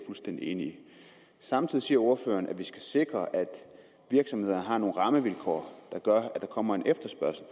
fuldstændig enig i samtidig siger ordføreren at vi skal sikre at virksomhederne har nogle rammevilkår som gør at der kommer en efterspørgsel